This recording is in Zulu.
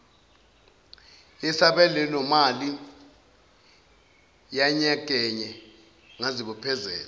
yesabelomali yanyakenye ngazibophezela